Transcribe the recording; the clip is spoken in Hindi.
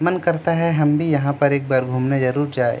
मन करता है हम भी यहां पर एक बार घूमने जरूर जाएं।